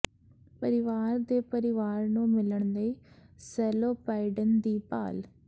ਪਰਿਵਾਰ ਦੇ ਪਰਿਵਾਰ ਨੂੰ ਮਿਲਣ ਲਈ ਸੈਲੋ ਪਾਈਡੇਨ ਦੀ ਭਾਲ